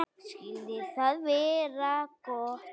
Skyldi það vera gott?